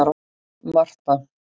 Marta